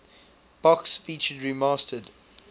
box featured remastered